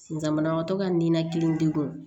Sisan banabagatɔ ka ninakili degun